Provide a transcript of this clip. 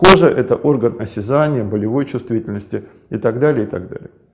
кожа это орган осязания болевой чувствительности и так далее и так далее